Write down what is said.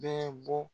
Bɛɛ bɔ